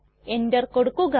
enter കൊടുക്കുക